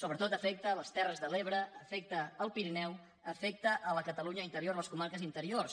sobretot afecta les terres de l’ebre afecta el pirineu afecta la catalunya interior les comarques interiors